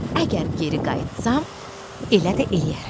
Əgər geri qayıtsam, elə də eləyərəm.